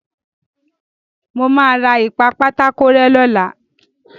Mo máa ra ìpa-pátákó-rẹ́ lọ́la.